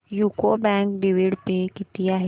UCO bank dividend pay किती आहे